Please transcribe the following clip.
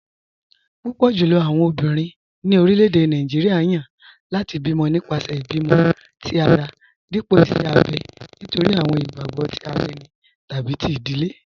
Púpọ̀ jùlọ̀ àwọn ọ̀bìnrin ni orílẹ̀-èdè Nàìjíríà yan láti bí mọ̀ nípasẹ̀ ìbímọ̀̀ tì ara dípọ̀ ìṣè àbẹ̀ nítorí àwọn ìgbàgbọ̀ tì ara ènì tàbí tí ìdílé.